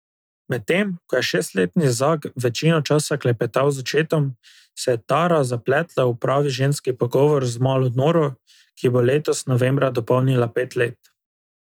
Medtem ko je šestletni Zak večino časa klepetal z očetom, se je Tara zapletla v pravi ženski pogovor z malo Noro, ki bo letos novembra dopolnila pet let.